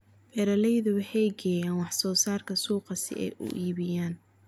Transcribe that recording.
Beeraleydu waxay geeyaan wax soo saarka suuqa si ay u iibiyaan.